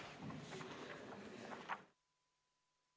Istungi lõpp kell 19.38.